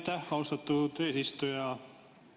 Aitäh, austatud eesistuja!